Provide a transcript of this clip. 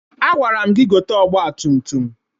Agwara m gị gote ọgbatumtum!